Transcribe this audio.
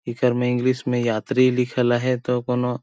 ऐकर में इंग्लिश में यात्री लिखल है तो कोनो--